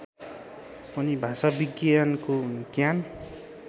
पनि भाषाविज्ञानको ज्ञान